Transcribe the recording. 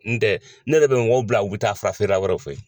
N tɛ ne yɛrɛ bɛ mɔgɔw bila u bɛ taa fura feerela wɛrɛw fɛ yen.